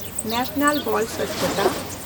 national ᱵᱚᱞ ᱥᱚᱪᱪᱷᱛᱟ